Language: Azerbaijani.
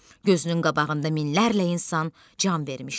Gözünün qabağında minlərlə insan can vermişdi.